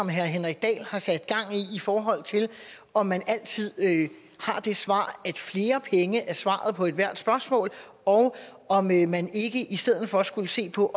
herre henrik dahl har sat gang i forhold til om man altid har det svar at flere penge er svaret på ethvert spørgsmål og om man man ikke i stedet for skulle se på